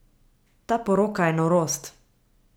Ta poroka je norost.